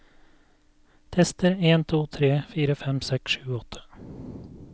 Tester en to tre fire fem seks sju åtte